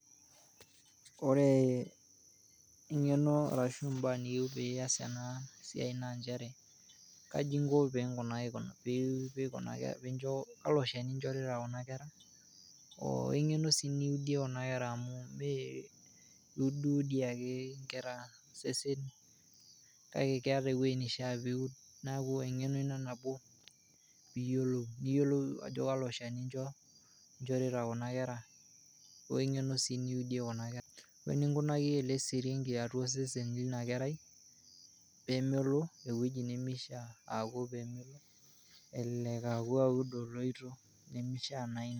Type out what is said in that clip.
Ore ing'eno arashu imbaa niyeu pias ana siaai naa inchere kaji inko pe, kalo lsheni inchorita kuna kerra oong'eno sii niudie kuna kerra amuu mee iudiudi ake inkerra sesen kake keata eweji neishaa peudi naaku eng'eno ina nabo piiyiolou ajo kalo lcheni incho, inshorita kuna kerra ,oo eng'eno sii niudie kuna kerra ,oeninkunaki ale siringi atuaa sesen le ina kerai peemelo eweji nemeishaa aaku elelek aaku aud oloito nemeishaa na ina.